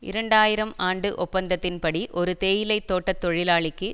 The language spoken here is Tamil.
இரண்டு ஆயிரம் ஆண்டு ஒப்பந்தத்தின் படி ஒரு தேயிலை தோட்ட தொழிலாளிக்கு